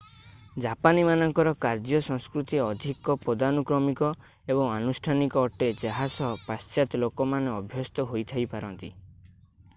ଜାପାନୀ ମାନଙ୍କର କାର୍ଯ୍ୟ ସଂସ୍କୃତି ଅଧିକ ପଦାନୁକ୍ରମିକ ଏବଂ ଆନୁଷ୍ଠାନିକ ଅଟେ ଯାହା ସହ ପାଶ୍ଚାତ୍ୟ ଲୋକମାନେ ଅଭ୍ୟସ୍ତ ହୋଇଥାଇପାରନ୍ତି